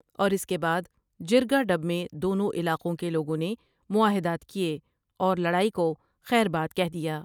اور اس کے بعد جرگہ ڈب میں دونوں علاقوں کہ لوگوں نے معاہدات کیے اور لڑائی کو خیر آباد کہہ دیا ۔